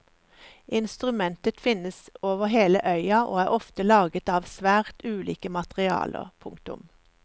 Instrumentet finnes over hele øya og er ofte laget av svært ulike materialer. punktum